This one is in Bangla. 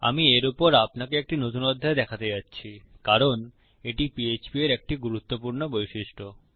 আমি এর উপর আপনাকে একটি নতুন অধ্যায় দেখাতে যাচ্ছি কারণ এটি পিএইচপি এর একটি গুরুত্বপূর্ণ বৈশিষ্ট্য